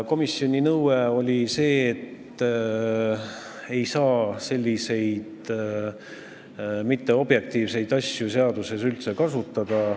Komisjoni nõue oli see, et selliseid mitteobjektiivseid asju ei saa seaduses üldse kasutada.